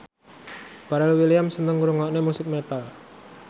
Pharrell Williams seneng ngrungokne musik metal